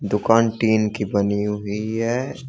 दुकान टीन की बनी हुई है।